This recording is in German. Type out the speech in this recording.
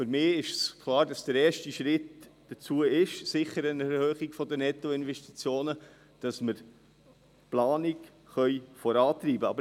– Für mich ist klar, dass der erste Schritt dazu sicher die Erhöhung der Nettoinvestitionen ist, damit wir die Planung vorantreiben können.